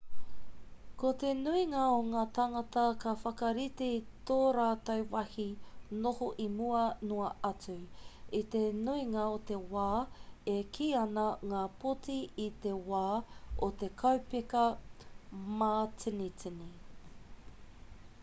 ko te nuinga o ngā tāngata ka whakarite i tō rātou wāhi noho i mua noa atu i te nuinga o te wā e kī ana ngā poti i te wā o te kaupeka mātinitini